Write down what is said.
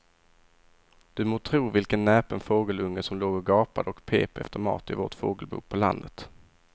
Du må tro vilken näpen fågelunge som låg och gapade och pep efter mat i vårt fågelbo på landet.